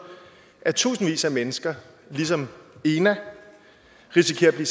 at tusindvis af mennesker ligesom ena risikerer at blive